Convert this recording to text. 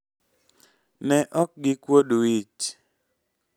ne ok gikuod wich